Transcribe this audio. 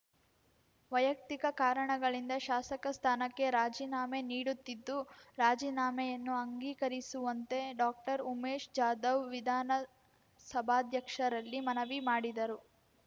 ವೈಯಕ್ತಿಕ ಕಾರಣಗಳಿಂದ ಶಾಸಕ ಸ್ಥಾನಕ್ಕೆ ರಾಜೀನಾಮೆ ನೀಡುತ್ತಿದ್ದು ರಾಜೀನಾಮೆಯನ್ನು ಅಂಗೀಕರಿಸುವಂತೆ ಡಾಕ್ಟರ್ ಉಮೇಶ್ ಜಾಧವ್ ವಿಧಾನಸಭಾಧ್ಯಕ್ಷರಲ್ಲಿ ಮನವಿ ಮಾಡಿದರು